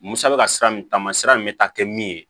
Musa bɛ ka sira min taamasira in bɛ taa kɛ min ye